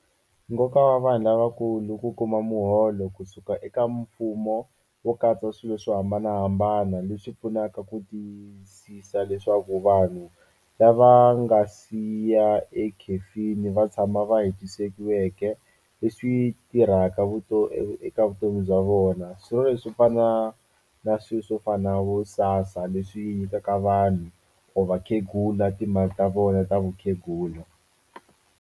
Nkoka wa vanhu lavakulu ku kuma muholo kusuka eka mfumo wo katsa swilo swo hambanahambana leswi pfunaka ku tiyisisa leswaku vanhu lava nga siya ekhefini va tshama va leswi tirhaka vutomi eka vutomi bya vona swi fana na swi swo fana vo SASSA leswi nyikaka vanhu or vakhegula timali ta vona ta vukhegula.